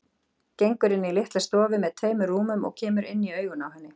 Gengur inn í litla stofu með tveimur rúmum og kemur inn í augun á henni.